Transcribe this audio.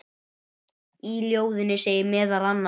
Í ljóðinu segir meðal annars